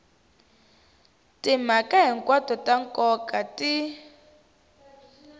timhaka hinkwato ta nkoka ti